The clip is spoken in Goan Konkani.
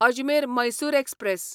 अजमेर मैसूर एक्सप्रॅस